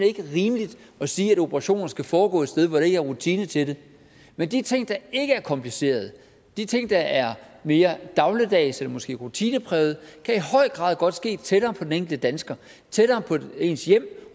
ikke rimeligt at sige at operationer skal foregå et sted hvor de ikke har rutinen til det men de ting der ikke er komplicerede de ting der er mere dagligdags eller måske rutineprægede kan i høj grad godt ske tættere på den enkelte dansker tættere på ens hjem